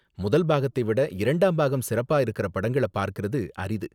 முதல் பாகத்தை விட இரண்டாம் பாகம் சிறப்பா இருக்கற படங்கள பாக்கறது அரிது.